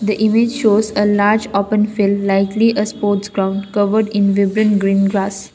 the image shows a large often likely a sports ground covered in living bring gross.